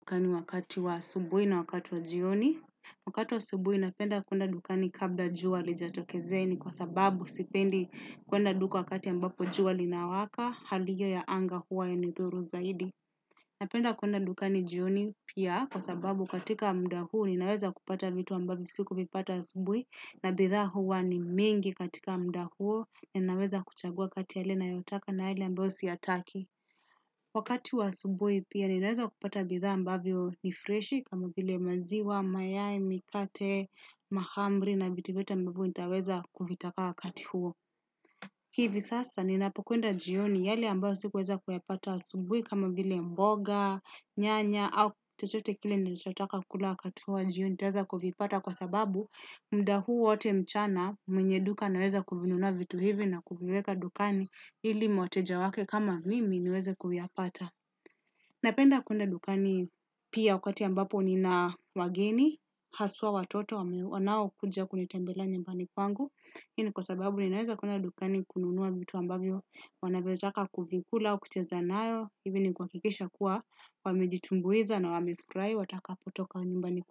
Kwani wakati wa asubuhi na wakati wa jioni. Wakati wa subuhi napenda kuenda dukani kabla jua halijatokezea ni kwa sababu sipendi kuenda dukani wakati ambapo jua li nawaka hali hiyo ya anga huwa yanithuru zaidi. Napenda kuenda dukani jioni pia kwa sababu katika muda huu ninaweza kupata vitu ambavyo siku vipata asubuhi na bidhaa huwa ni mingi katika muda huo ni naweza kuchagua kati yale nayotaka na yale ambayo siyataki. Wakati wa asubuhi pia ninaweza kupata bidhaa ambavyo ni freshi kama vile maziwa, mayai, mikate, mahamri na vitu vyote ambavyo nitaweza kuvitaka wakati huo. Hivi sasa ninapokuenda jioni yale ambayo sikuweza kuyapata asubui kama vile mboga, nyanya, au chochote kile nilichotaka kula wakati wa jioni taweza kuvipata kwa sababu muda huu wote mchana mwenye duka anaweza kuvinunua vitu hivi na kuviweka dukani ili wateja wake kama mimi niweze kuyapata. Napenda kuenda dukani pia wakati ambapo nina wageni, haswa watoto wanao kuja kunitambelea nyumbani kwangu. Ini kwa sababu ninaweza kuenda dukani kununua vitu ambavyo wanavyotaka kuvikula, kucheza nayo, hivi ni kwa kikisha kuwa wamejitumbuiza na wamefurahi watakapotoka nyumbani kwangu.